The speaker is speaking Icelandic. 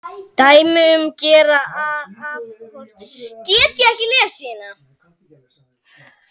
Dæmi um gera afhroð er